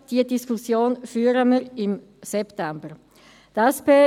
Diese Diskussion werden wir im September führen.